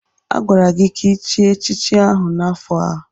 Agwara gị ka ichie echichi ahụ n'afọ a!